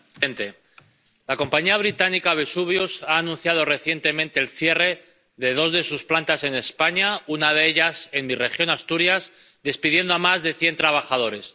Señor presidente, la compañía británica Vesuvius ha anunciado recientemente el cierre de dos de sus plantas en España, una de ellas en mi región, Asturias, y despedido a más de cien trabajadores.